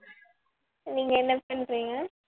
நீங்க என்ன பண்றீங்க